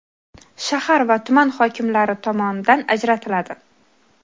shahar va tuman hokimlari tomonidan ajratiladi.